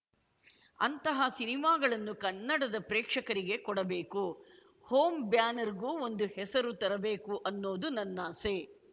ಅಂತಹ ಸಿನಿಮಾಗಳನ್ನು ಕನ್ನಡದ ಪ್ರೇಕ್ಷಕರಿಗೆ ಕೊಡಬೇಕು ಹೋಮ್‌ ಬ್ಯಾನರ್‌ಗೂ ಒಂದು ಹೆಸರು ತರಬೇಕು ಅನ್ನೋದು ನನ್ನಾಸೆ